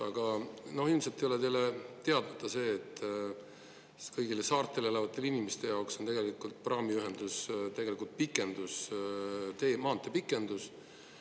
Aga ilmselt ei ole teile teadmata see, et kõigi saartel elavate inimeste jaoks on tegelikult praamiühendus tegelikult pikendus, tee, maantee pikendus.